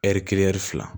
Ɛri kelen fila